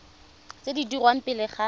tse di dirwang pele ga